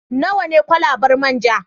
Nawa ne kwalabar man ja?